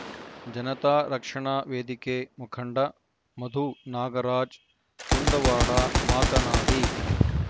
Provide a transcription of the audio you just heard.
ಜನತಾ ರಕ್ಷಣಾ ವೇದಿಕೆ ಮುಖಂಡ ಮಧು ನಾಗರಾಜ್ ಕುಂದುವಾಡ ಮಾತನಾಡಿ